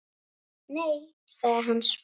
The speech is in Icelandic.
Nei- sagði hann svo.